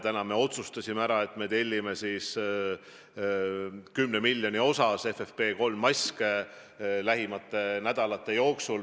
Täna me otsustasime ära, et me tellime 10 miljoni osas FFP3 maske lähimate nädalate jooksul.